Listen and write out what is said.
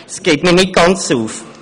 Das geht für mich nicht ganz auf.